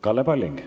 Kalle Palling.